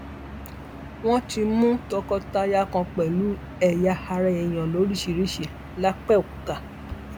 wọn tún mú tọkọtaya kan pẹlú ẹyà ara èèyàn lóríṣìíríṣìí lápbẹọkúta